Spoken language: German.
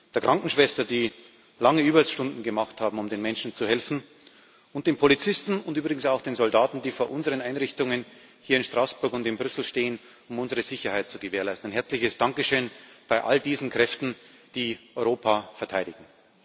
den Krankenschwestern, die lange Überstunden gemacht haben, um den Menschen zu helfen, und den Polizisten und übrigens auch den Soldaten, die vor unseren Einrichtungen hier in Straßburg und in Brüssel stehen, um unsere Sicherheit zu gewährleisten. Ein herzliches Dankeschön an all diese Kräfte, die Europa verteidigen!